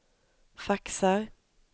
faxar